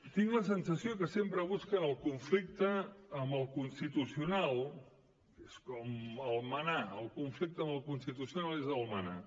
tinc la sensació que sempre busquen el conflicte amb el constitucional és com el manà el conflicte amb el constitucional és el manà